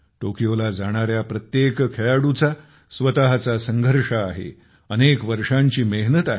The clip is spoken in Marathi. टोक्योला जाणाऱ्या प्रत्येक खेळाडूचा स्वतःचा संघर्ष आहे अनेक वर्षांची मेहनत आहे